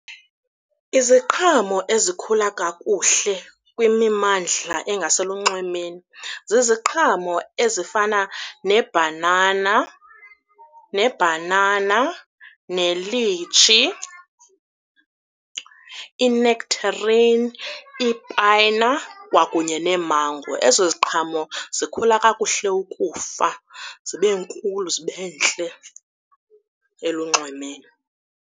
Iziqhamo ezikhula kakuhle kwimimandla engaselunxwemeni ziziqhamo ezifana neebhanana nelitshi, inektherin, ipayina kwakunye neemango. Ezo ziqhamo zikhule kakuhle ukufa zibe nkulu zibe ntle, elunxwemeni.